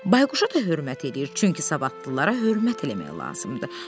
Bayquşa da hörmət edir, çünki savadlılara hörmət eləmək lazımdır.